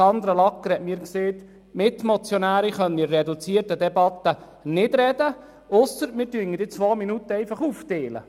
Sandra Lagger sagte mir, die Mitmotionäre könnten in der reduzierten Debatte nicht reden, ausser wir würden die zwei Minuten aufteilen.